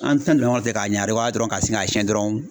An ti na don ɲɔgɔn fɛ k'a ɲari dɔrɔn ka sin k'a siyɛn dɔrɔn